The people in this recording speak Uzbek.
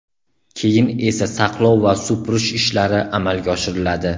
Keyin esa saqlov va supurish ishlari amalga oshiriladi.